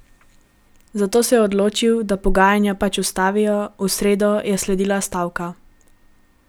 Zato se je odločil, da pogajanja pač ustavijo, v sredo je sledila stavka.